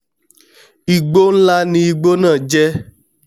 igbó nlá ni igbó náà jẹ́